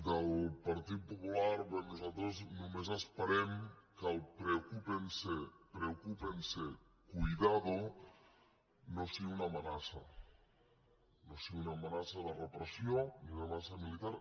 del partit popular bé nosaltres només esperem que el preocúpense preocúpense cuidado no sigui una amenaça no sigui una amenaça de repressió ni una amenaça militar